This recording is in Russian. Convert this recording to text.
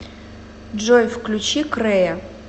джой включи крэя